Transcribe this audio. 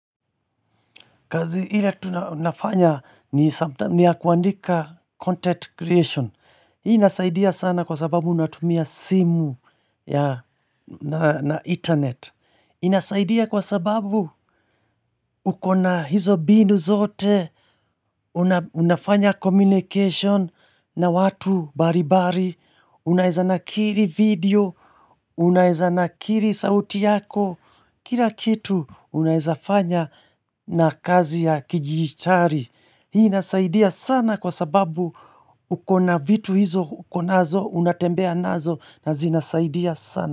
Kazi ile tu nafanya ni sometime ni ya kuandika content creation Hii inasaidia sana kwa sababu natumia simu na internet inasaidia kwa sababu ukona hizo mbinu zote Unafanya communication na watu mbalimbali Unaeza nakiri video, unaeza nakiri sauti yako Kila kitu unaeza fanya na kazi ya kijichari Hii inasaidia sana kwa sababu ukona vitu hizo ukonazo unatembea nazo na zinasaidia sana.